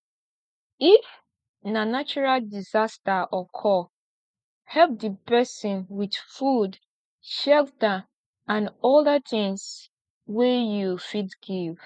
if na natural disaster occur help di persin with food shelter and oda things wey you fit give